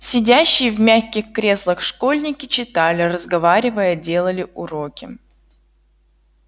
сидящие в мягких креслах школьники читали разговаривая делали уроки